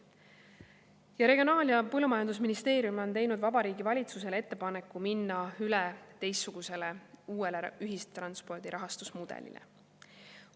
Ja Regionaal‑ ja Põllumajandusministeerium on teinud Vabariigi Valitsusele ettepaneku minna üle teistsugusele, uuele ühistranspordi rahastusmudelile.